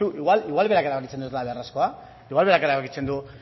baino aizu igual berak erabakitzen du ez dela beharrezkoa igual berak erabakitzen du